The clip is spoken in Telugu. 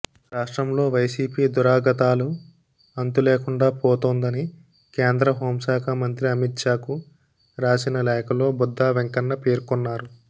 రాష్ట్రంలో వైసీపీ దురాగతాలు అంతులేకుండా పోతోందని కేంద్ర హోంశాఖ మంత్రి అమిత్షాకు రాసిన లేఖలో బుద్దా వెంకన్న పేర్కొన్నారు